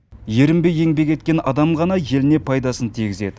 ерінбей еңбек еткен адам ғана еліне пайдасын тигізеді